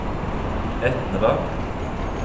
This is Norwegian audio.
Etnedal